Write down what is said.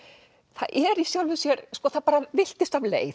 það er í sjálfu sér það villtist af leið